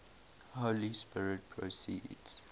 holy spirit proceeds